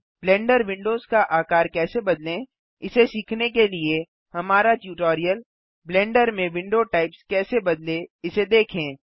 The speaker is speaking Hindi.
ब्लेंडर विंडोज का आकार कैसे बदलें इसे सीखने के लिए हमारा ट्यूटोरियल ब्लेंडर में विंडो टाइप्स कैसे बदलें इसे देखें